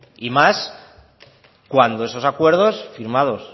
y más cuando esos acuerdos firmados